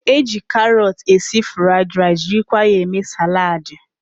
E ji karọt esi fụraịd rice jirikwa ya eme saladị.